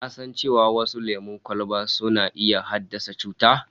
Ka san cewa wasu lemon kwalban suna iya haddasa cuta?